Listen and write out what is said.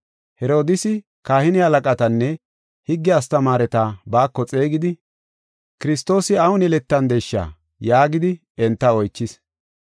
Herodiisi kahine halaqatanne higge astamaareta baako xeegidi, “Kiristoosi awun yeletandesha?” yaagidi enta oychis.